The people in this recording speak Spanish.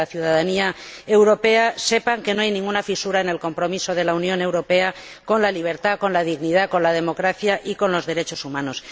la ciudadanía europea sepan que no hay ninguna fisura en el compromiso de la Unión Europea con la libertad, con la dignidad, con la democracia y con los derechos humanos.